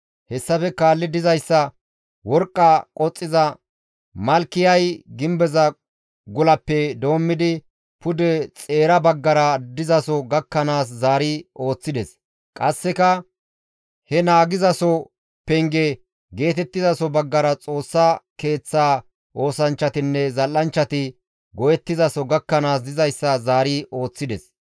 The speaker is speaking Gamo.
Hessafe kaalli dizayssa worqqa qoxxiza Malkiyay gimbeza gulappe doommidi pude xeera baggara dizaso gakkanaas zaari ooththides; qasseka he naagizaso penge geetettizaso baggara Xoossa Keeththa oosanchchatinne zal7anchchati go7ettizaso gakkanaas dizayssa zaari ooththides.